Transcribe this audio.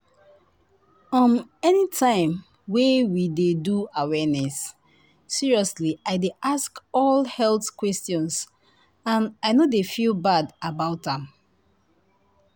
umanytime wey we dey do awareness seriously i dey ask all health question and i no dey feel bad about am.